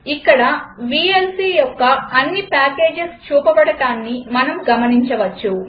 ఇక్కడ వీఎల్సీ యొక్క అన్ని పాకేజస్ చూపబడటాన్ని మనం గమనించవచ్చు